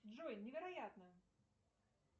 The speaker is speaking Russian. джой невероятно